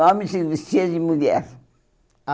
Homem se vestia de mulher. Ah